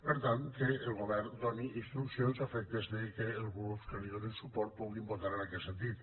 per tant que el govern doni instruccions a efectes que els grups que li donen suport puguin votar en aquest sentit